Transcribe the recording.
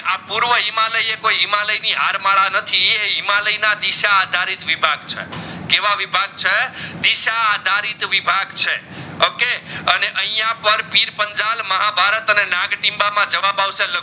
આ પૂર્વા હિમાલય અકોઈ હિમાલય ની હારમાડા નથી એ હિમાલય ના દિશા આધારિત વિભાગ છે કેવા વિભાગ છે દિશા આધારિત વિભાગ છે okay અને આઇયાહ પણ પીરપંજલ અને મહાભારત અને નગતિમબા માં જવાબ આવસે